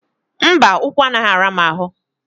Mba, ụkwụ anaghị ara m ahụ